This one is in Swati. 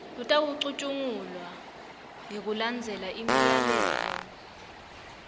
lutawucutjungulwa ngekulandzela imiyalelo